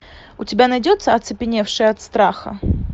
у тебя найдется оцепеневшие от страха